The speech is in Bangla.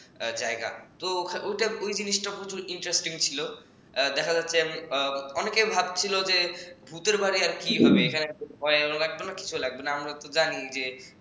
জায়গা তো ওই জিনিসটা খুব interesting ছিল দেখা যাচ্ছে অনেকে ভাবছিল যে ভূতের বাড়ি আর কি হবে এখানে ভয়ও লাগবে না কিছুও লাগবেনা আমরা জানি যে